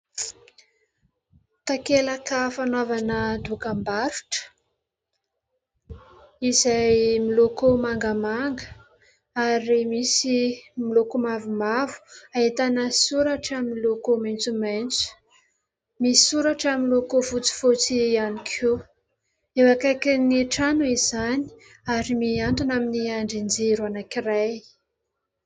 Takelaka fanaovana dokam-barotra izay miloko mangamanga ary misy miloko mavomavo, ahitana soratra miloko maitsomaitso. Misy soratra miloko fotsifotsy ihany koa. Eo akaikin'ny trano izany ary mihantona amin'ny andrin-jiro anankiray.